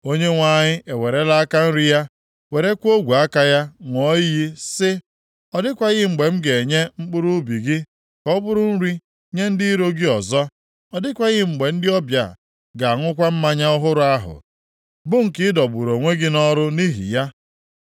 Onyenwe anyị ewerela aka nri ya werekwa ogwe aka ya ṅụọ iyi sị, “Ọ dịghịkwa mgbe m ga-enye mkpụrụ ubi gị ka ọ bụrụ nri nye ndị iro gị ọzọ, ọ dịghịkwa mgbe ndị ọbịa ga-aṅụkwa mmanya ọhụrụ ahụ bụ nke ị dọgburu onwe gị nʼọrụ nʼihi ya.